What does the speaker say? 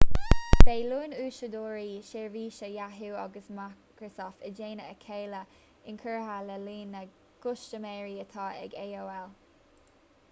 beidh líon úsáideoirí sheirbhísí yahoo agus microsoft i dteannta a chéile inchurtha le líon na gcustaiméirí atá ag aol